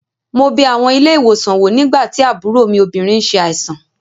Mo bẹ àwọn ilé-ìwòsàn wò nígbà tí àbúrò mi obìnrin n ṣe àìsàn